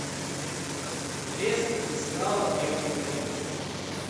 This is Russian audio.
блеск и слава древнего рима